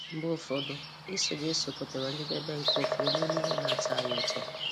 Mgbe ụfọdụ — Iso Jesu pụtara njedebe nke ụfọdụ n’ime ihe na-atọ anyị ụtọ.